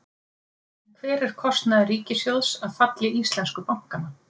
En hver er kostnaður ríkissjóðs af falli íslensku bankanna?